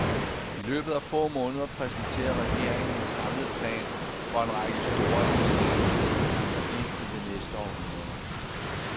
I løbet af få måneder præsenterer regeringen en samlet plan for en række store investeringer, som rækker ind i det næste århundrede.